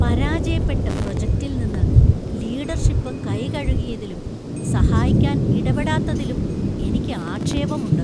പരാജയപ്പെട്ട പ്രൊജക്ടിൽ നിന്ന് ലീഡർഷിപ്പ് കൈ കഴുകിയതിലും , സഹായിക്കാൻ ഇടപെടാത്തത്തിലും എനിക്ക് ആക്ഷേപമുണ്ട് .